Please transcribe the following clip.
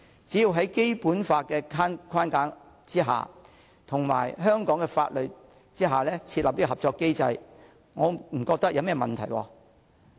只要在《基本法》的框架及香港的法律之下設立合作機制，我不覺得有甚麼問題。